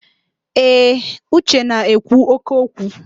Ee, Uche na-ekwu óké okwu.